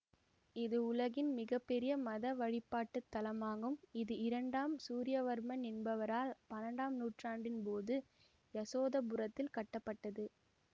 இது உலகின் மிக பெரிய மத வழிபாட்டு தலமாகும் இது இரண்டாம் சூரியவர்மன் என்பவரால் பன்னெண்டாம் நூற்றாண்டின் போது யசோதரபுரத்தில் கட்டப்பட்டது